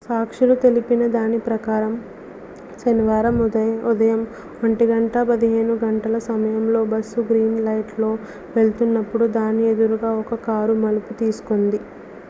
సాక్షులు తెలిపిన దాని ప్రకారం శనివారం ఉదయం 1:15 గంటల సమయంలో బస్సు గ్రీన్ లైట్లో వెళ్తునప్పుడు దాని ఎదురుగా ఒక కారు మలుపు తీసుకుంది